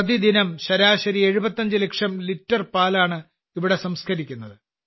പ്രതിദിനം ശരാശരി 75 ലക്ഷം ലിറ്റർ പാലാണ് ഇവിടെ സംസ്കരിക്കുന്നത്